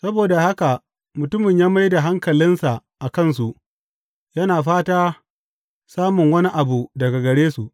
Saboda haka mutumin ya mai da hankalinsa a kansu, yana fata samun wani abu daga gare su.